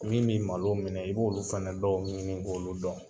Min bi malo minɛ i b'olu fana dɔw ɲini k'olu dɔn